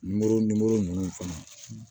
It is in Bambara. Nimoro nimoro ninnu fana